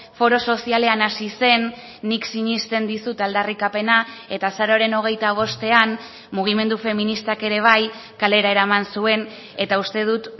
foro sozialean hasi zen nik sinesten dizut aldarrikapena eta azaroaren hogeita bostean mugimendu feministak ere bai kalera eraman zuen eta uste dut